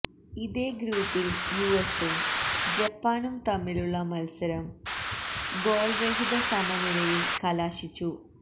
ഇതേ ഗ്രൂപ്പില് യുഎസ്സും ജപ്പാനും തമ്മിലുള്ള മത്സരം ഗോള്രഹിത സമനിലയില് കലാശിച്ചു